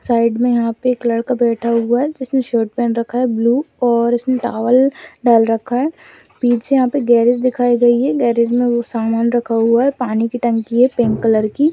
Side में यहाँ पे एक लड़का बैठा हुआ है जिसने शर्ट पहन रखा है बलू और उसने टॉवल डाल रखा है पीछे यहाँ पर गैरेज दिखाई देगी गैरेज में समान रखा हुआ है पानी की टंकी है पिंक कलर की।